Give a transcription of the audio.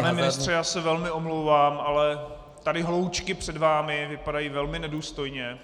Pane ministře, já se velmi omlouvám, ale tady hloučky před vámi vypadají velmi nedůstojně.